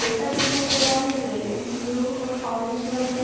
Paper दिखाई दे रहा है रेड ब्लू और ऑरेंज कलर में।